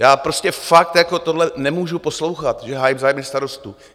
Já prostě fakt tohle nemůžu poslouchat, že hájím zájmy starostů.